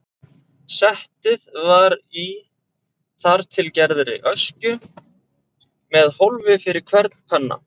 Settið var í þar til gerðri öskju með hólfi fyrir hvern penna.